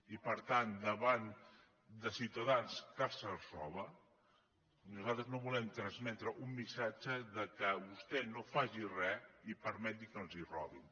i per tant davant de ciutadans que se’ls roba nosaltres no volem transmetre un missatge de vostè no faci res i permeti que li robin